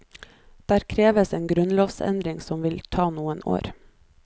Der kreves en grunnlovsendring som vil ta noen år.